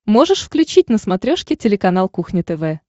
можешь включить на смотрешке телеканал кухня тв